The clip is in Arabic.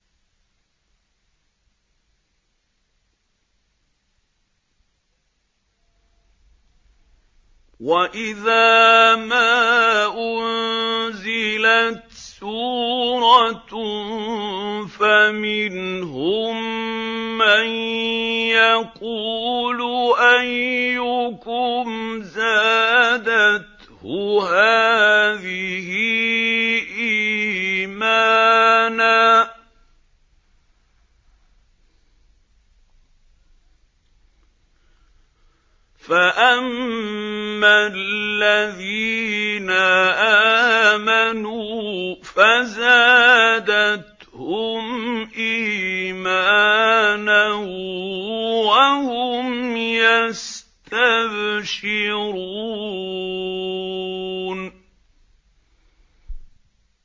وَإِذَا مَا أُنزِلَتْ سُورَةٌ فَمِنْهُم مَّن يَقُولُ أَيُّكُمْ زَادَتْهُ هَٰذِهِ إِيمَانًا ۚ فَأَمَّا الَّذِينَ آمَنُوا فَزَادَتْهُمْ إِيمَانًا وَهُمْ يَسْتَبْشِرُونَ